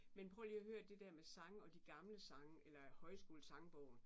Men prøv lige at hør det der med sang og de gamle sange eller højskolesangbogen